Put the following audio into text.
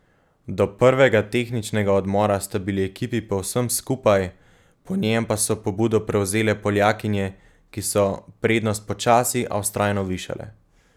Do prvega tehničnega odmora sta bili ekipi povsem skupaj, po njem pa so pobudo prevzele Poljakinje, ki so prednost počasi, a vztrajno višale.